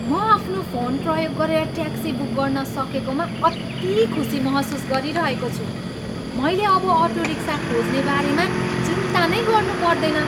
म आफ्नो फोन प्रयोग गरेर ट्याक्सी बुक गर्न सकेकामा अति खुसी महसुस गरिरहेको छु। मैले अब अटो रिक्सा खोज्ने बारेमा चिन्ता नै गर्नुपर्दैन।